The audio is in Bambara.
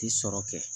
Ti sɔrɔ kɛ